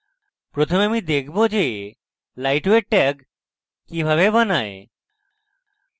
প্রথমে আমি দেখাবো যে lightweight tag কিভাবে বানায়